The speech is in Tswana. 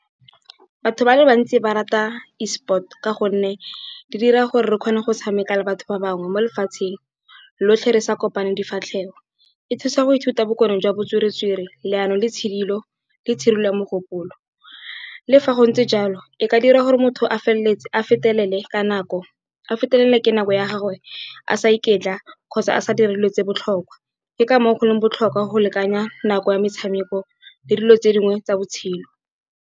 Batho ba le bantsi ba rata E sport, ka gonne di dira gore re kgone go tshameka le batho ba bangwe mo lefatsheng lotlhe re sa kopane difatlhego. E thusa go ithuta bokorong jwa bo tswere-tswere, leano le tshidilo le tshirilo yamogopolo. Le fa go ntse jalo e ka dira gore motho a fetelele ke nako ya gagwe a sa iketla, kgotsa a sa dire tse botlhokwa. Ke ka moo go leng botlhokwa go lekanya nako ya metshameko, le dilo tse dingwe tsa botshelo.